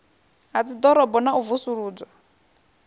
ha dziḓorobo na u vusuludzwa